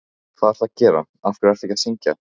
hvað ertu að gera, af hverju ertu ekki að syngja!?